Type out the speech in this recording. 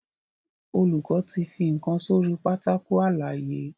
Olùkó tí fí nkán sórí Pátákó àlàyé.